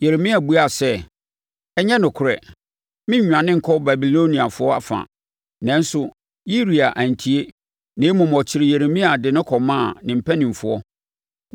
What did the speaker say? Yeremia buaa sɛ, “Ɛnyɛ nokorɛ. Merennwane nkɔ Babiloniafoɔ afa.” Nanso, Yiria antie, na mmom ɔkyeree Yeremia de no kɔmaa ne mpanimfoɔ.